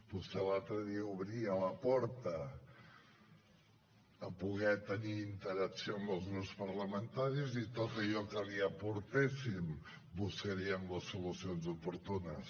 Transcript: vostè l’altre dia obria la porta a poder tenir interacció amb els grups parlamentaris i en tot allò que li aportéssim buscaríem les solucions oportunes